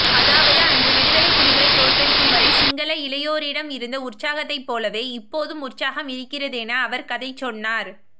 அதாவது அன்று விடுதலைப்புலிகளை தோற்கடிக்கும் வரை சிங்கள இளையோரிடம் இருந்த உற்சாகத்தைப்போலவே இப்போதும் உற்சாகம் இருக்கிறதென அவர் கதை சொன்னார்